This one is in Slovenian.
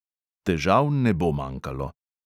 Težav ne bo manjkalo.